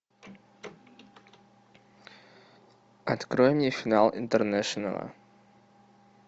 открой мне финал интернешнла